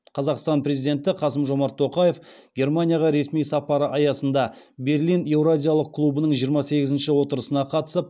қазақстан президенті қасым жомарт тоқаев германияға ресми сапары аясында берлин еуразиялық клубының жиырма сегізінші отырысына қатысып